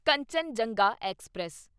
Kanchenjunga express